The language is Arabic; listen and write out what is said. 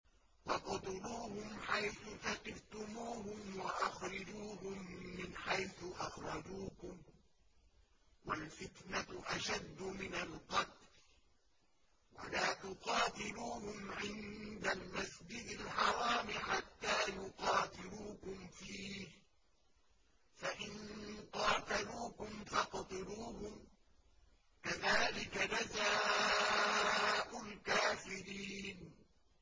وَاقْتُلُوهُمْ حَيْثُ ثَقِفْتُمُوهُمْ وَأَخْرِجُوهُم مِّنْ حَيْثُ أَخْرَجُوكُمْ ۚ وَالْفِتْنَةُ أَشَدُّ مِنَ الْقَتْلِ ۚ وَلَا تُقَاتِلُوهُمْ عِندَ الْمَسْجِدِ الْحَرَامِ حَتَّىٰ يُقَاتِلُوكُمْ فِيهِ ۖ فَإِن قَاتَلُوكُمْ فَاقْتُلُوهُمْ ۗ كَذَٰلِكَ جَزَاءُ الْكَافِرِينَ